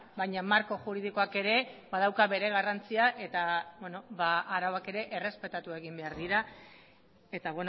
baina marko juridikoak ere badauka bere garrantzia eta arauak ere errespetatu egin behar dira eta